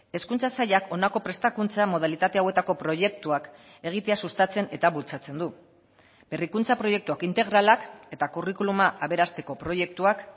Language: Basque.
hezkuntza sailak honako prestakuntza modalitate hauetako proiektuak egitea sustatzen eta bultzatzen du berrikuntza proiektuak integralak eta curriculuma aberasteko proiektuak